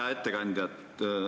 Hea ettekandja!